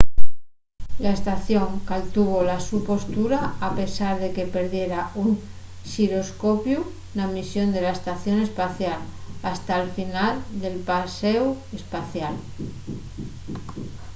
la estación caltuvo la so postura a pesar de que perdiera un xiroscopiu na misión de la estación espacial hasta'l final del paséu espacial